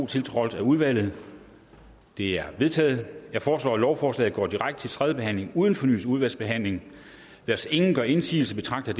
tiltrådt af udvalget de er vedtaget jeg foreslår at lovforslag a går direkte til tredje behandling uden fornyet udvalgsbehandling hvis ingen gør indsigelse betragter